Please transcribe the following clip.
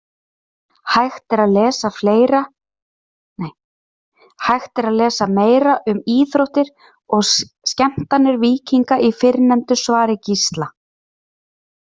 Hægt er að lesa meira um íþróttir og skemmtanir víkinga í fyrrnefndu svari Gísla.